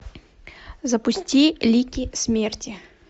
запусти лики смерти